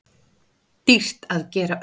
Dýrt að gera upp